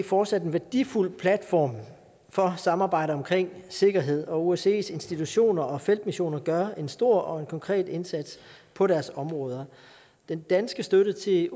fortsat en værdifuld platform for samarbejde omkring sikkerhed og osces institutioner og feltmissioner gør en stor og konkret indsats på deres områder den danske støtte til